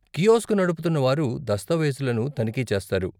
Kiosk నడుపుతున్నవారు దస్తావేజులను తనిఖీ చేస్తారు.